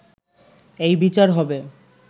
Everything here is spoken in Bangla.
এই বিচার হবে